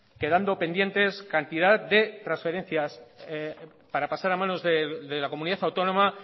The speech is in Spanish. quedando pendientes cantidad de transferencias para pasar manos de la comunidad autónoma